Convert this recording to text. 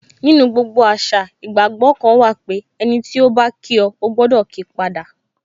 Nínú gbogbo àṣà, ìgbàgbọ́ kan wà pé, ẹniti o ba kí o, o gbọdọ kii pada